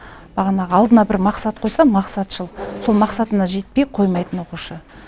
бағанағы алдына бір мақсат қойса мақсатшыл сол мақсатына жетпей қоймайтын оқушы